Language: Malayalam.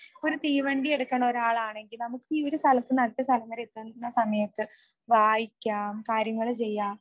ഒരു തീവണ്ടി എടുക്കുന്ന ഒരാളാണെങ്കിൽ നമുക്കീ ഒരു സ്ഥലത്തു നിന്നും അടുത്ത സ്ഥലം വരെ എത്തുന്ന സമയത്തു വായിക്കാം കാര്യങ്ങൾ ചെയ്യാം